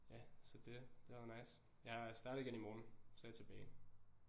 Ja så det det har været nice jeg starter igen i morgen så er jeg tilbage